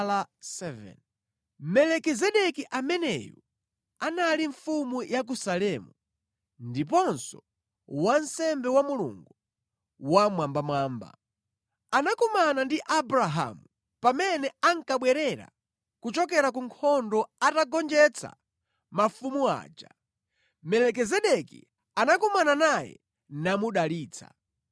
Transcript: Melikizedeki ameneyu anali mfumu ya ku Salemu, ndiponso wansembe wa Mulungu Wammwambamwamba. Anakumana ndi Abrahamu pamene ankabwerera kuchokera ku nkhondo atagonjetsa mafumu aja, Melikizedeki anakumana naye namudalitsa.